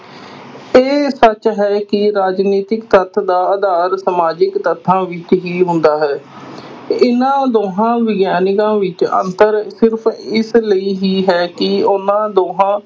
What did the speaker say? ਇਹ ਸੱਚ ਹੈ ਕਿ ਰਾਜਨੀਤਿਕ ਤੱਥ ਦਾ ਆਧਾਰ ਸਮਾਜਿਕ ਤੱਥਾਂ ਵਿਚ ਹੀ ਹੁੰਦਾ ਹੈ ਇਹਨਾਂ ਦੋਹਾਂ ਵਿਗਿਆਨਕਾਂ ਵਿਚ ਅੰਤਰ ਸਿਰਫ਼ ਇਸ ਲਈ ਹੀ ਹੈ ਕਿ ਉਹਨਾਂ ਦੋਹਾਂ